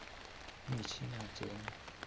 Mi chi ne acheng�e